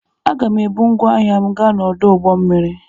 Aga m ebu ngwá ahịa m gaa n'ọdụ ụgbọ mmiri.